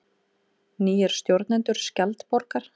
Nýir stjórnendur Skjaldborgar